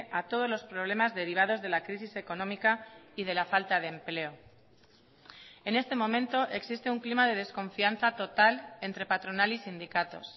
a todos los problemas derivados de la crisis económica y de la falta de empleo en este momento existe un clima de desconfianza total entre patronal y sindicatos